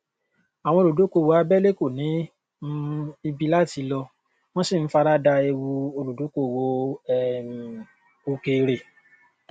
àwọn ẹgbẹ ti kò ti lọrùn ni a gbà níyànjú láti lọ sí láti lọ sí ilé ẹjọ